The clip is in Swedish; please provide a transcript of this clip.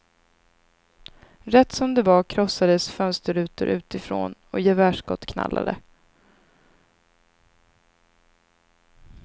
Rätt som det var krossades fönsterrutor utifrån, och gevärsskott knallade.